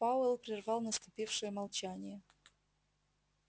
пауэлл прервал наступившее молчание